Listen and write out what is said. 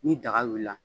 Ni daga wulila